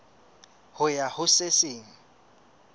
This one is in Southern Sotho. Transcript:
ho ya ho se seng